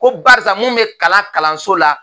Ko barisa mun bɛ kalan kalanso la